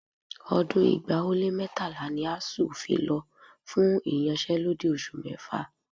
Ọdún ẹgbàá ó lé mẹ́tàlá ni ASUU lọ fún ìyanṣẹ́lódì oṣù mẹ́fà